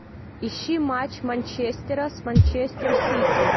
ищи матч манчестера с манчестер сити